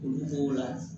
Olu b'o la